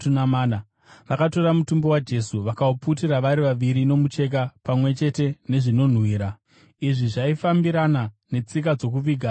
Vakatora mutumbi waJesu, vakauputira vari vaviri nomucheka pamwe chete nezvinonhuhwira. Izvi zvaifambirana netsika dzokuviga dzavaJudha.